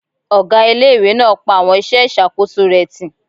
Ọgá ilé-ìwé náà pa àwọn iṣẹ́ ìṣàkóso rẹ̀ tì